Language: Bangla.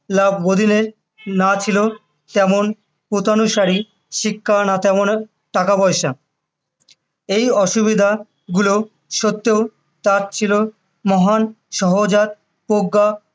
আবদিনের না ছিল তেমন গতানুসারী শিক্ষা না তেমন টাকা পয়সা, এই অসুবিধা গুলো সত্ত্বেও তার ছিল মহান সহজাত প্রজ্ঞা ও